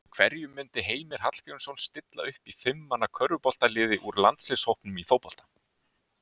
Hverjum myndi Heimir Hallgrímsson stilla upp í fimm manna körfuboltaliði úr landsliðshópnum í fótbolta?